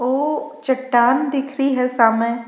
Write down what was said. ओ चट्टान दिख रही है सामे।